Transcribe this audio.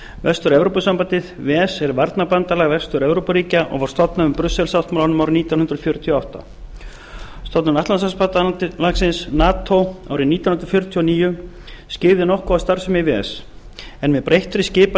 vestur evrópusambandið ves er varnarbandalag vestur evrópuríkja og var stofnað með brussel sáttmálanum að nítján hundruð fjörutíu og átta stofnun atlantshafsbandalagsins nato árið nítján hundruð fjörutíu og níu skyggði nokkuð á starfsemi ves en með breyttri skipan